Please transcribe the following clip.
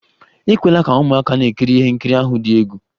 Ekwela ka ụmụaka na-ekiri ihe nkiri ahụ dị egwu!